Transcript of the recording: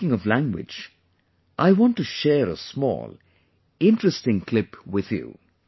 Speaking of language, I want to share a small, interesting clip with you